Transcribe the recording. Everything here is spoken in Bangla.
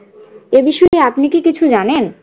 এ বিষয়ে আপনি কি কিছু জানেন?